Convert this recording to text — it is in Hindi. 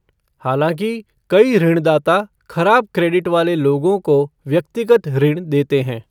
हालांकि, कई ऋणदाता खराब क्रेडिट वाले लोगों को व्यक्तिगत ऋण देते हैं।